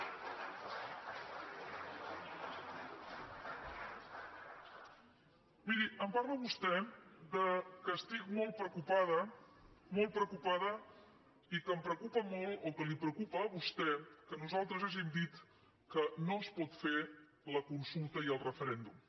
miri em parla vostè que estic molt preocupada molt preocupada i que em preocupa molt o que li preocupa a vostè que nosaltres hàgim dit que no es pot fer la consulta i el referèndum